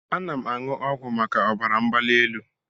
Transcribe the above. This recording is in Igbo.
Ana m aṅụ ọgwụ maka ọbara mgbali elu.